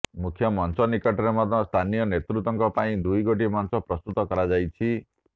ମୁଖ୍ୟ ମଞ୍ଚ ନିକଟରେ ମଧ୍ୟ ସ୍ଥାନୀୟ ନେତୃତ୍ୱଙ୍କ ପାଇଁ ଦୁଇଗୋଟି ମଞ୍ଚ ପ୍ରସ୍ତୁତ କରାଯାଇଛି